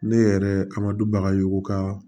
Ne yɛrɛ a ma du bagayogo ka